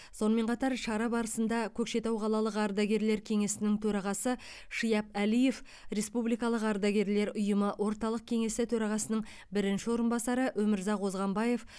сонымен қатар шара барысында көкшетау қалалық ардагерлер кеңесінің төрағасы шияп әлиев республикалық ардагерлер ұйымы орталық кеңесі төрағасының бірінші орынбасары өмірзақ озғанбаев